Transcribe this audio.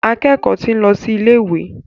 Akẹ́kọ̀ọ́ ti ń lọ sí ilé ìwé.